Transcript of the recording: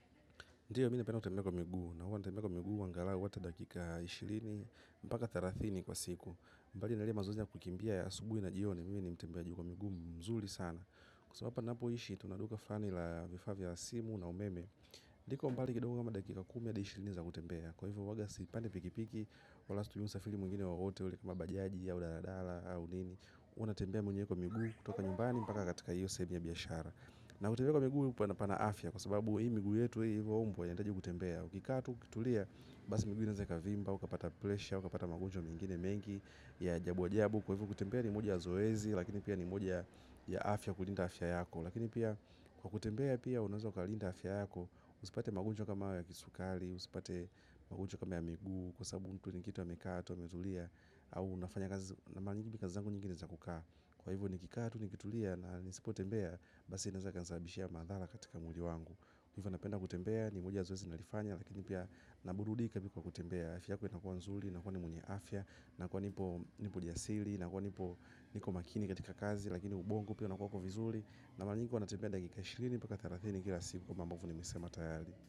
Ndio mi napenda kutembea kwa miguu, na huwa natembea kwa miguu angalau ata dakika ishirini, mpaka thelathini kwa siku. Mbali na lile mazoezi ya kukimbia asubuhi na jioni, mimi ni mtembeaji kwa miguu mzuli sana. Kwa sababu hapa napoishi, tuna duka flani la vifaa vya simu na umeme. Liko mbali kidogo kama dakika kumi hadi ishirini za kutembea. Kwa hivyo huwaga sipandi pikipiki, wala situmii usafiri mwingine wowote ule kama bajaji au daladala, au nini. Huwa natembea mwenyewe kwa miguu, kutoka nyumbani, mpaka katika hiyo sehemu ya biashara. Miguu pana pana afya kwa sababu hii miguu yetu hii ilivyoumbwa inahitaji kutembea. Ukikaa tu ukitulia basi miguu inaweza ikavimba, ukapata pressure, ukapata magonjwa mengine mengi ya ajabu ajabu. Kwa hivo kutembea ni moja ya zoezi lakini pia ni moja ya ya afya kulinda afya yako. Lakini pia kwa kutembea pia unaweza ukalinda afya yako usipate magonjwa kama hayo ya kisukari usipate magonjwa kama ya miguu kwa sababu mtu ni kitu amekaa tu ametulia au unafanya kazi na mahali nyingi kazi zangu nyingi ni za kukaa. Kwa hivo nikikaa tu nikitulia na nisipotembea basi inaweza ikanisababishia madhara katika mwili wangu kwa hivyo napenda kutembea ni moja ya zoezi nalifanya. Lakini pia naburudika pia kwa kutembea. Afya yako inakuwa nzuri, nakuwa ni mwenye afya. Nakuwa nipo nipo jasiri, nakuwa nipo niko makini katika kazi. Lakini ubongo pia unakuwako vizuri. Na mara nyingi huwa natembea dakika ishirini mpaka thelathini kila siku. Kama ambavo nimesema tayari.